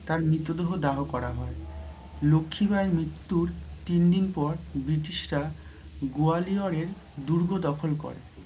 তাঁর মৃত দেহ দাহ করা হয়। লক্ষি বাইয়ের মৃত্যুর তিন দিন পর Brirtish রা গয়ালিওরের দুর্গ দখল করে।